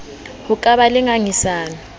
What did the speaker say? ho ka ba le ngangisano